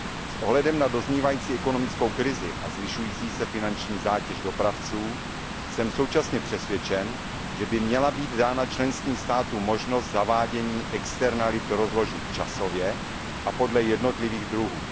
S ohledem na doznívající ekonomickou krizi a zvyšující se finanční zátěž dopravců jsem současně přesvědčen, že by měla být dána členským státům možnost zavádění externích nákladů rozložit časově a podle jednotlivých druhů.